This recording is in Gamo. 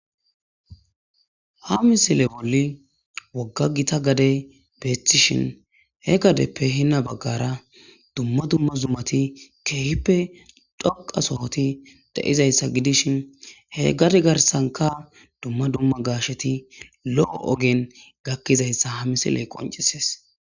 ha misile bolli wogga gita gade beestishin he gadeppe hinna baggara dumma dumma zummati keehippe dhoqa sohoti de7izayssa gidishin he gade garsanka dumma dumma gaasheti lo7o ogen gakkizayssa ha misiley qoncisees